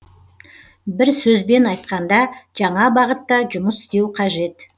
бір сөзбен айтқанда жаңа бағытта жұмыс істеу қажет